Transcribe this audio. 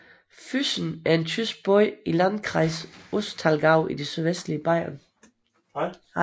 Füssen er en tysk by i Landkreis Ostallgäu i det sydvestlige Bayern